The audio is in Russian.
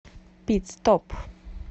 пит стоп